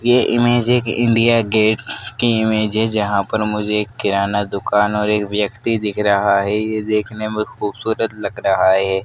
ये ईमेज एक India gate की इमेज है जहां पर मुझे किराना दुकान और एक व्यक्ति दिख रहा है यह देखने में बहुत खूबसूरत लग रहा है।